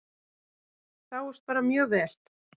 Sáust bara mjög vel.